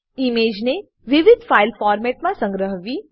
ઈમેજને વિવિધ ફાઈલ ફોર્મેટોમાં સંગ્રહવી